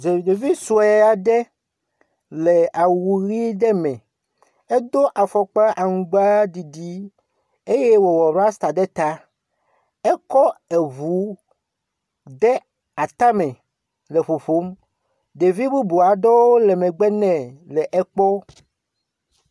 Ɖevi sue aɖe le awu ʋi aɖe me. Edo afɔkpa aŋgbaɖiɖi eye wòwɔ rasta ɖe ta. Ekɔ ŋu de atame le ƒoƒom. Ɖevi bubu aɖewo le megbe nɛ le ekpɔm.